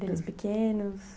Deles pequenos?